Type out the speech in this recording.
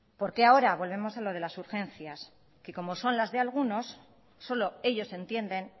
por qué ahora volvemos a lo de las urgencias que como son las de algunos solo ellos entienden